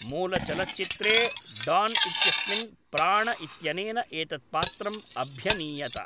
मूलचलच्चित्रे डान् इत्यस्मिन् प्राण इत्यनेन एतत् पात्रम् अभ्यनीयत